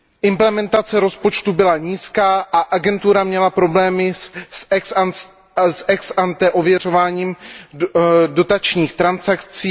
Implementace rozpočtu byla nízká a agentura měla problémy s ex ante ověřováním dotačních transakcí.